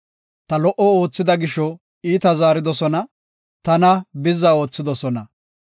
Ta lo77o oothida gisho iita zaaridosona; tana bizza oothidosona.